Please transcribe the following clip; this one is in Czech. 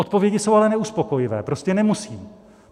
Odpovědi jsou ale neuspokojivé - prostě nemusí.